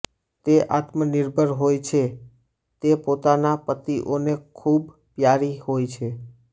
તે આત્મનિર્ભર હોય છે ને પોતાના પતિઓને ખૂબ પ્યારી હોય છે